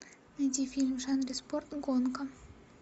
найди фильм в жанре спорт гонка